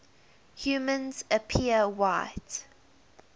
humans appear white